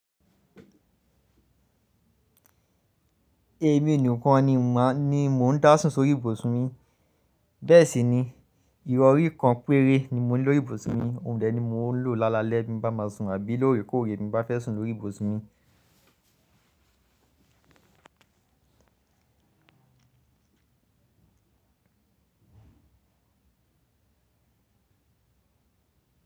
Èmi nìkan ni mo n dá sùn sórí ìbòsún mi, bẹ́ẹ̀ sì ni irọrí kan péré ni mo ní lórí ìbòsún mi, ohun dẹ ni mo ń lò lálalẹ́ bí mo bá máa sùn àbí lóorèkóòrè bí mo bá fẹ́ sùn lórí ìbòsún mi.